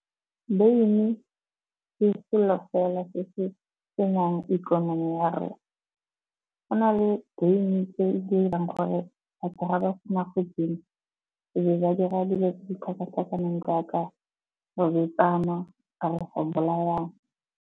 Beine ke selo fela se se senyang ikonomi ya rona. Go na le beine e dirang gore batho ga ba se na go e nwa, e be ba dira dilo tse di tlhakatlhakaneng jaaka kana go bolayana.